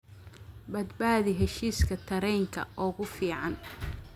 badbaadi heshiiska tareenka ugu fiican